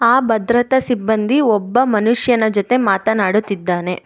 ಆ ಭದ್ರತಾ ಸಿಬ್ಬಂದಿ ಒಬ್ಬ ಮನುಷ್ಯನ ಜೊತೆ ಮಾತನಾಡುತ್ತಿದ್ದಾನೆ.